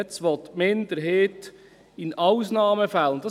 Nun will die Minderheit «in Ausnahmefällen» hinzufügen.